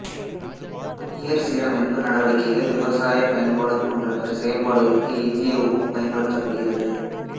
நீர் சீரமைப்பு நடவடிக்கைகள் விவசாய பயன்பாடு போன்ற பிற செயல்பாடுகளுக்கு எஞ்சிய உப்பு பயன்படுத்தப்படுகிறது